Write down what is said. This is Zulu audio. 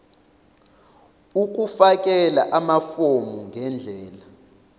ukufakela amafomu ngendlela